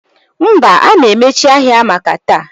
Mba, a na-emechi ahịa maka taa